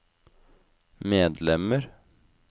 medlemmer